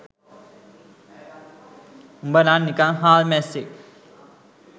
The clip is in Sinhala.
උඹනම් නිකන් හාල් මැස්සෙක්